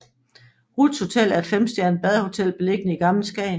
Ruths Hotel er et femstjernet badehotel beliggende i Gammel Skagen